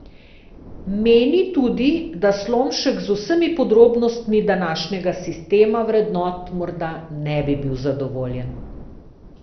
Meni tudi, da Slomšek z vsemi podrobnostmi današnjega sistema vrednot morda ne bi bil zadovoljen.